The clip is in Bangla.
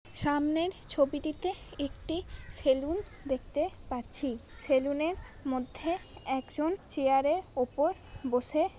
সামনের ছবিটিতে একটি সেলুন দেখতে পাচ্ছি। সেলুনের মধ্যে একজন চেয়ারে উপর বসে--